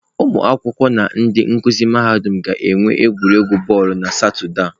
Ụmụ akwụkwọ na ndị nkuzi mahadum ga-enwe egwuregwu bọọlụ na Satọde a.